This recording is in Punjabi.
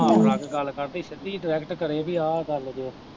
ਘੁੰਮਾ ਫਿਰਾ ਕੇ ਗੱਲ ਕਰਦੀ, ਸਿੱਧੀ ਡਾਇਰੈਕਟ ਕਰੇ ਕਿ ਆ ਗੱਲ ਜੋ।